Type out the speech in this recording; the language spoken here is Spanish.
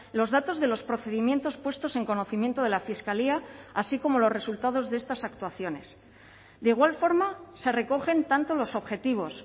los datos de los procedimientos puestos en conocimiento de la fiscalía así como los resultados de estas actuaciones de igual forma se recogen tanto los objetivos